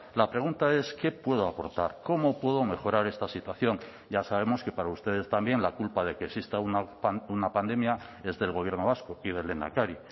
la pregunta es qué puedo aportar cómo puedo mejorar esta situación ya sabemos que para ustedes también la culpa de que exista una pandemia es del gobierno vasco y del lehendakari